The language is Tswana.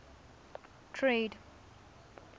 trade